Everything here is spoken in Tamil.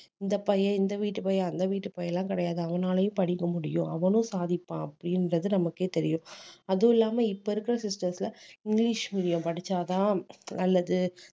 இந்த பையன் இந்த வீட்டு பையன் அந்த வீட்டு பையன் எல்லாம் கிடையாது அவனாலயும் படிக்க முடியும் அவனும் சாதிப்பான் அப்படின்றது நமக்கே தெரியும் அதுவும் இல்லாம இப்ப இருக்க system த்ல இங்கிலீஷ் medium படிச்சா தான் நல்லது